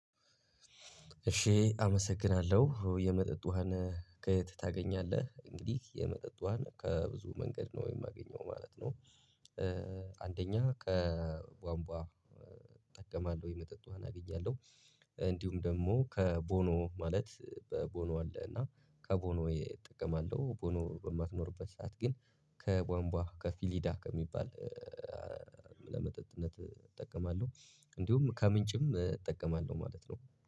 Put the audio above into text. እሺ! አመሰግናለሁ። የመጠጥ ውሃን ከየት ታገኛለህ? እንግዲህ የመጠጥ ውሃን ከብዙ መንገድ ነው የማገኘው ማለት ነው። አንደኛ ከቧንቧ እጠቀማለሁ፤ የመጠጥ ውሃ አገኛለሁ። እንዲሁም ደግሞ ከቦኖ ማለት ቦኖ አለ እና ከቦኖ እጠቀማለሁ። ቦኖ በማትኖርበት ሰዓት ግን ከቧንቧ ከፊሊዳ ከሚባል ለመጠጥነት እጠቀማለሁ። እንዲሁም ከምንጭም እጠቀማለሁ ማለት ነው።